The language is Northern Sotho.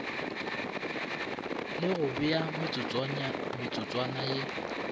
le go bea metsotswana ye